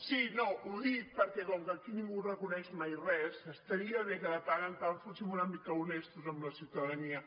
sí no ho dic perquè com que aquí ningú reconeix mai res estaria bé que de tant en tant fóssim una mica honestos amb la ciutadania